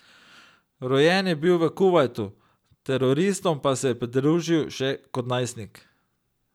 Rojen je bil v Kuvajtu, teroristom pa se je pridružil že kot najstnik.